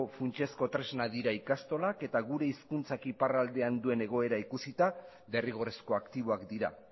funtsezko tresna dira ikastolak eta gure hizkuntzak iparraldean duen egoera ikusita derrigorrezko aktiboak dira